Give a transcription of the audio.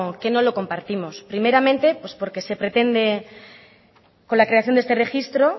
que no lo compartimos primeramente pues porque se pretende con la creación de este registro